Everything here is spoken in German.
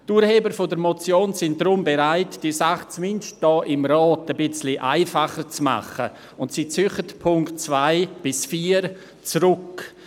Die Urheber dieser Motion sind deshalb bereit, diese Sache zumindest hier im Grossen Rat ein wenig einfacher zu machen und ziehen die Punkte 2–4 zurück.